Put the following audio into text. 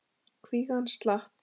Kvígan slapp.